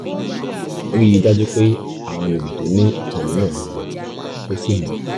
ríi dájú pé àwọn àgbègbè tó ní ìkọlù náà gbẹ kó sì mọ́